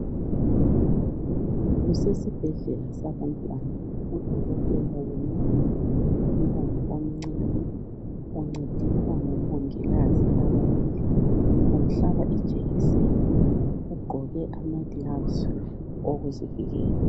Kusesibhedlela sabantwana. Udokotela welapha umntwana omncane. Uncediswa ngomongikazi ababili. Umhlaba ijekiseni. Ugqoke amagilavusi okuzivikela.